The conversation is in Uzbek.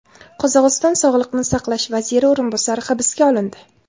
Qozog‘iston sog‘liqni saqlash vaziri o‘rinbosari hibsga olindi.